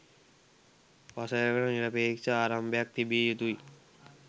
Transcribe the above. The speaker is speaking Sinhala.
වසරකට නිරපේක්ෂ ආරම්භයක් තිබිය යුතුයි